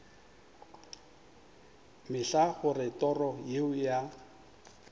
mehla gore toro yeo ya